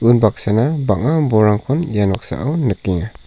unbaksana bang·a bolrangkon ia noksao nikenga.